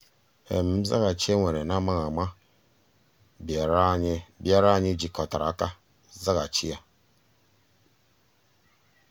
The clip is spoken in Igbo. nzàghàchì e weere n’amaghị ama bịàrà anyị jikọtara aka zàghàchì ya.